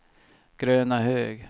Grönahög